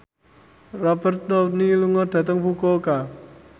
Robert Downey lunga dhateng Fukuoka